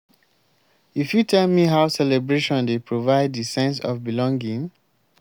you fit tell me how celebration dey provide di sense of belonging?